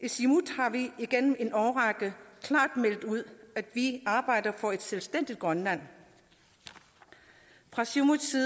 i siumut har vi igennem en årrække klart meldt ud at vi arbejder for et selvstændigt grønland fra siumuts